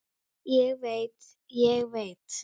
Ég veit, ég veit.